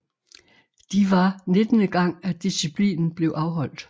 De var nittende gang at disciplinen blev afholdt